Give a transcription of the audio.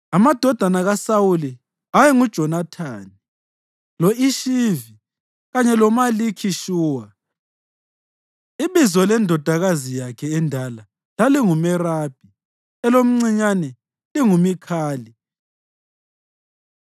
Amadodana kaSawuli ayenguJonathani, lo-Ishivi kanye loMalikhi-Shuwa. Ibizo lendodakazi yakhe endala lalinguMerabi, elomcinyane linguMikhali.